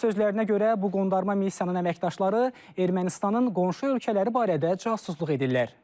Onun sözlərinə görə bu qondarma missiyanın əməkdaşları Ermənistanın qonşu ölkələri barədə casusluq edirlər.